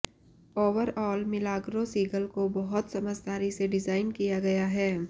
overall Milagrow Seagull को बहुत समझदारी से डिजाइन किया गया है